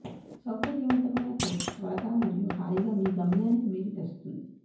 సౌకర్యవంతమైన కోచ్లు త్వరగా మరియు హాయిగా మీ గమ్యానికి మీరు తెస్తుంది